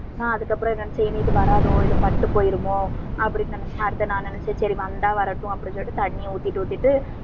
ஆஹ் அதுக்கப்புறம் என்னன்னா இது வராதோ, இது பட்டு போயிருமோ, அப்படின்னு நான் நினைச்சேன். அடுத்தது நான் நினைச்சேன் சரி வந்தா வரட்டும் அப்படின்னு சொல்லிட்டு, தண்ணியை ஊத்திட்டு ஊத்திட்டு